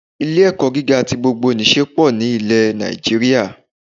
Ilé ẹ̀kọ́ gíga ti gbogbo nìse pọ̀ ní ilẹ̀ Nàìjíríà